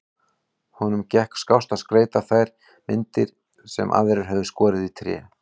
Honum gekk skást að skreyta þær myndir sem aðrir höfðu skorið í tré.